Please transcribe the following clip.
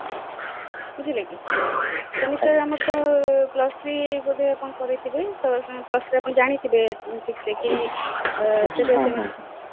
ବୁଝିଲେ କି semester ଆମର ତ plus three ବୋଧେ କଣ କରିଥିବେ ତା ଆପଣ plus three ରେ ଜାଣିଥିବେ କି